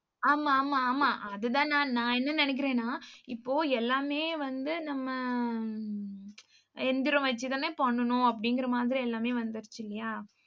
ஆமா ஆமா ஆமா அதுதான் நான் நான் என்ன நினைக்கிறேன்னா, இப்போ எல்லாமே வந்து நம்ம எந்திரம் வச்சு தானே பண்ணணும் அப்படிங்கிற மாதிரி எல்லாமே வந்துருச்சு இல்லையா?